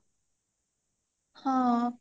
ହଁ